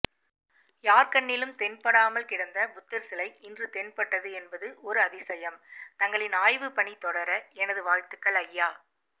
யார்கண்ணிலும் தென்படாமல் கிடந்த புத்தர்சிலை இன்று தென்பட்டது என்பது ஒரு அதியசம் தங்களின் ஆய்வுப்பணி தொடர எனது வாழ்த்துக்கள் ஐயா